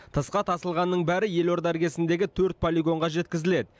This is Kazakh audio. тысқа тасылғанның бәрі елорда іргесіндегі төрт полигонға жеткізіледі